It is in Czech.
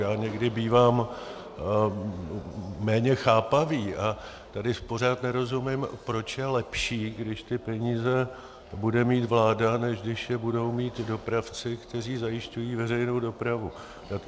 Já někdy bývám méně chápavý a tady pořád nerozumím, proč je lepší, když ty peníze bude mít vláda, než když je budou mít dopravci, kteří zajišťují veřejnou dopravu.